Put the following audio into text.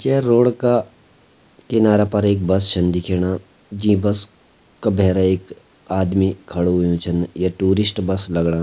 जे road का किनारा पर एक बस छन दिखेणा जी बस का भैर एक आदमी खड़ु होयुं छन ये टूरिस्ट बस लगणा।